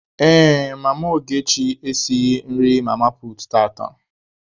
Ee, mama Ogechi esighị nri mama puutu tata.